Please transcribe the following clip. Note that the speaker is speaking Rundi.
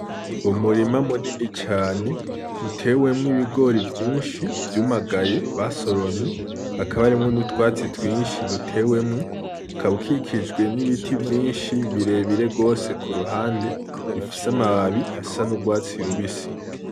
Ni umurima munini cane utewemwo ibigori vyinshi vyumaganye, basoromye, hakaba harimwo n'utwatsi twinshi dutewemwo, ukaba ukikijwe n'ibiti vyinshi birebire gose ku ruhande bifise amababi asa n'urwatsi rubisi.